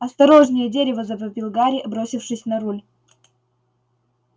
осторожнее дерево завопил гарри бросившись на руль